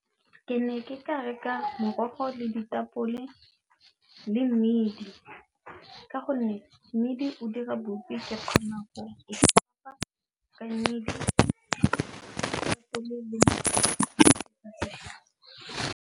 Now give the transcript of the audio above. Ke ne ke ka reka morogo le ditapole le mmidi ka gonne mmidi o dira bopi ke kgona go e supa .